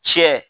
Tiɲɛ